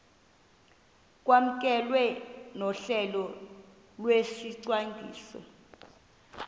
kwamkelwe nohlelo lwesicwangciso